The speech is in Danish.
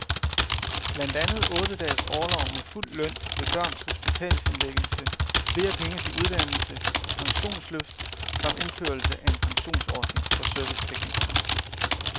Blandt andet otte dages orlov med fuld løn ved børns hospitalsindlæggelse, flere penge til uddannelse, pensionsløft samt indførelse af en pensionsordning for serviceteknikere.